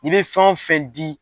I be fɛn o fɛn di